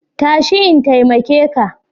Tashi in taimake ka.